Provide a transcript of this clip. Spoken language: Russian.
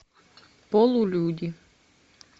полулюди